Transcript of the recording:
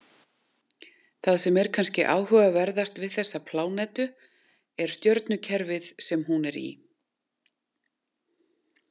Það sem er kannski áhugaverðast við þessa plánetu er stjörnukerfið sem hún er í.